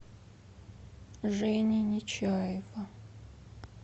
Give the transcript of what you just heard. жени нечаева